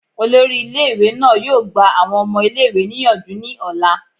Olori ile iwe naa yoo gba awọn ọmọ ile-iwe niyanju ni ọla